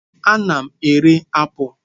Ana m ere apụl.